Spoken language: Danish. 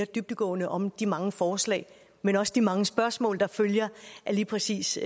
dybdegående om de mange forslag men også de mange spørgsmål der følger af lige præcis